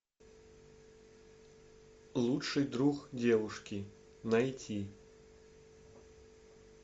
лучший друг девушки найти